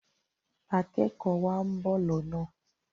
akékòó wa nbọ lọnà.